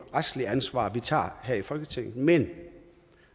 retsligt ansvar vi tager her i folketinget men